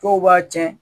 Dɔw b'a cɛn